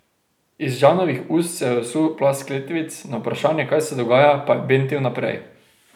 Iz Žanovih ust se je usul plaz kletvic, na vprašanje, kaj se dogaja, pa je bentil naprej.